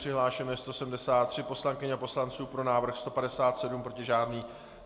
Přihlášeno je 173 poslankyň a poslanců, pro návrh 157, proti žádný.